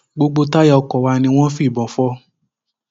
gbogbo táyà ọkọ wa ni wọn fìbọn fò